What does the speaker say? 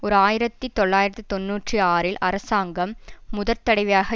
ஓர் ஆயிரத்தி தொள்ளாயிரத்து தொன்னூற்றி ஆறில் அரசாங்கம் முதற் தடவையாக